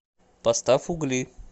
поставь угли